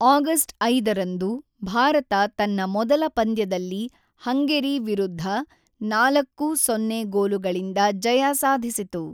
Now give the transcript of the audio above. August ೫ರಂದು ಭಾರತ ತನ್ನ ಮೊದಲ ಪಂದ್ಯದಲ್ಲಿ ಹಂಗೆರಿ ವಿರುದ್ಧ ೪-೦ ಗೋಲುಗಳಿಂದ ಜಯ ಸಾಧಿಸಿತು.